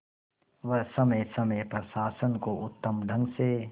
वह समय समय पर शासन को उत्तम ढंग से